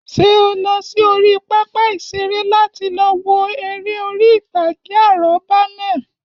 Ṣé o lọ sí orí pápá ìṣeré láti lọ wo eré orí ìtàgé àrọ́bá náà